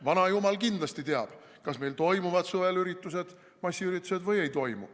Vanajumal kindlasti teab, kas meil toimuvad suvel üritused, massiüritused, või ei toimu.